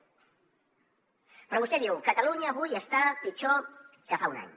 però vostè diu catalunya avui està pitjor que fa un any